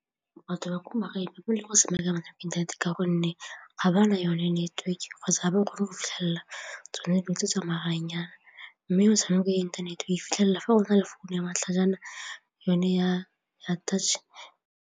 Batho ba ko magaeng inthanete ka gonne ga ba na yone neteweke kgotsa ga ba kgone go fitlhelela tsone dilo tse tsa maranyane mme motshameko ya inthanete e fitlhelela fa o na le founu ya matlhajana yone ya touch.